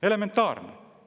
Elementaarne!